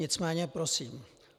Nicméně prosím.